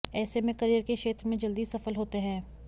ऐसे में करियर के क्षेत्र में जल्दी सफल होते हैं